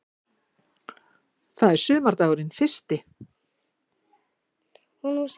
Það er sumardagurinn fyrsti.